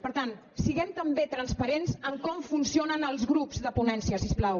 per tant siguem també transparents en com funcionen els grups de ponència si us plau